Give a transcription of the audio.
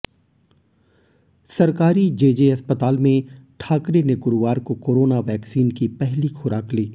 सरकारी जेजे अस्पताल में ठाकरे ने गुरुवार को कोरोना वैक्सीन की पहली खुराक ली